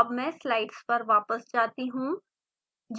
अब मैं स्लाइड्स पर वापस जाती हूँ